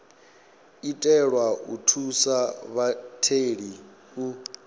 itelwa u thusa vhatheli u